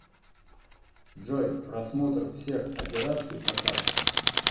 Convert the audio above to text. джой просмотр всех операций по картам